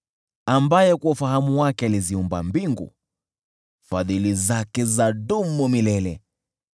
Ambaye kwa ufahamu wake aliziumba mbingu, Fadhili zake zadumu milele .